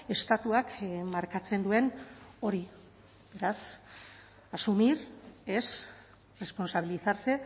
estatuak markatzen duen hori beraz asumir es responsabilizarse